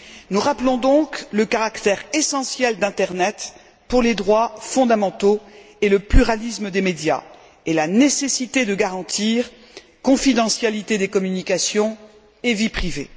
Nous rappelons donc le caractère essentiel d'internet pour les droits fondamentaux et le pluralisme des médias et la nécessité de garantir la confidentialité des communications et la vie privée.